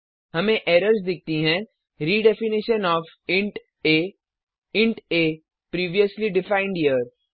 हमें एरर्स दिखती हैं redefinition of int a int a previously defined here